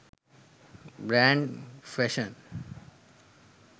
brand fashion